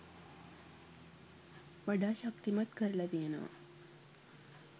වඩා ශක්තිමත් කරලා තියෙනවා